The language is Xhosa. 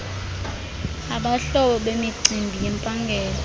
abahloli bemicimbi yempangelo